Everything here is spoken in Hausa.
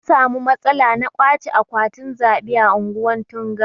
An samu matsala na ƙwache akwatin zaɓe a ungwan Tunga.